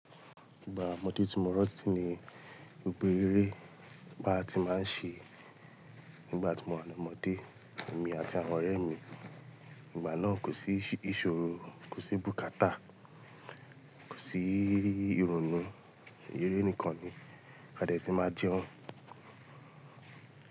Ìgbà ọmọdé tí mo mọ ọtí ni gbogbo eré bà tí máa ń ṣe nígbà tí mo wà ní ọmọdé èmi àti àwọn ọ̀rẹ́ mi. Ìgbà náà kò sí ìṣòro, kò sí bùkátà, kò sí ìrònú, eré nìkan ni. Gbadèsì máa jẹun.